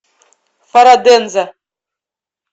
фараденза